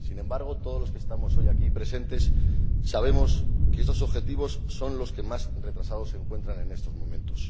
Sin embargo, todos los que estamos hoy aquí presentes sabemos que estos objetivos son los que más retrasados se encuentran en estos momentos.